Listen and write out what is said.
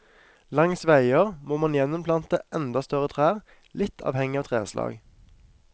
Langs veier må man gjeninnplante enda større trær, litt avhengig av treslag.